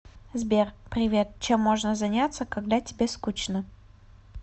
сбер привет чем можно заняться когда тебе скучно